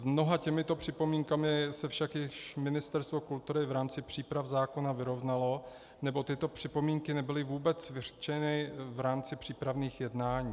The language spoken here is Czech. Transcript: S mnoha těmito připomínkami se však již Ministerstvo kultury v rámci příprav zákona vyrovnalo, nebo tyto připomínky nebyly vůbec vyřčeny v rámci přípravných jednání.